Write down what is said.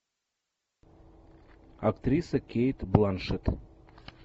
актриса кейт бланшетт